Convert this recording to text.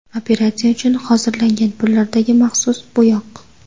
Operatsiya uchun hozirlangan pullardagi maxsus bo‘yoq.